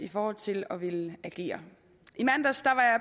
i forhold til at ville agere i mandags